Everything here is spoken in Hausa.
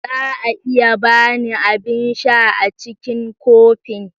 Za a iya ba ni abin sha a cikin kofin?